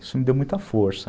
Isso me deu muita força.